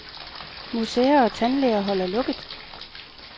Museer og tandlæger holder lukket.